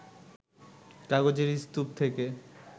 কাগজের স্তূপ থেকে